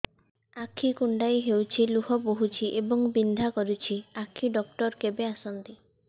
ଆଖି କୁଣ୍ଡେଇ ହେଉଛି ଲୁହ ବହୁଛି ଏବଂ ବିନ୍ଧା କରୁଛି ଆଖି ଡକ୍ଟର କେବେ ଆସନ୍ତି